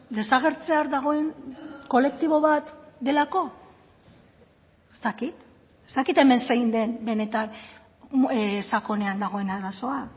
desagertzear dagoen kolektibo bat delako ez dakit ez dakit hemen zein den benetan sakonean dagoen arazoa